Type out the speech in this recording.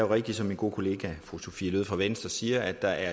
rigtigt som min gode kollega fru sophie løhde fra venstre siger at der